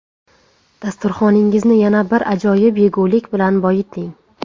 Dasturxoningizni yana bir ajoyib yegulik bilan boyiting.